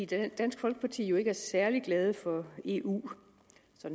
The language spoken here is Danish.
da dansk folkeparti jo ikke er særlig glad for eu